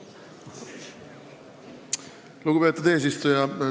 Lugupeetud eesistuja!